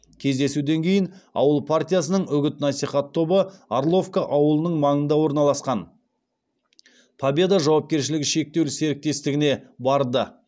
кездесуден кейін ауыл партиясының үгіт насихат тобы орловка ауылының маңында орналасқан победа жауапкершілігі шектеулі серіктестігіне барды